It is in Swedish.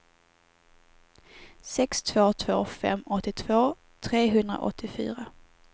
sex två två fem åttiotvå trehundraåttiofyra